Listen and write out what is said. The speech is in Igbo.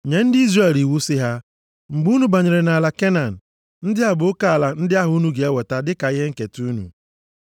“Nye ndị Izrel iwu sị ha, ‘Mgbe unu banyere nʼala Kenan, ndị a bụ oke ala ndị ahụ unu ga-enweta dịka ihe nketa unu: